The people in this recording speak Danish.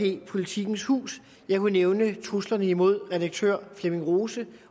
jppolitikens hus jeg kunne nævne truslerne mod redaktør flemming rose